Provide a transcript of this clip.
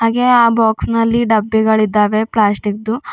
ಹಾಗೆ ಆ ಬಾಕ್ಸ್ ನಲ್ಲಿ ಡಬ್ಬಿಗಳಿದ್ದಾವೆ ಪ್ಲಾಸ್ಟಿಕ್ದು.